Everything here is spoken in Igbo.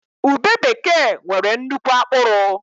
Ube bekee nwere nnukwu akpụrụ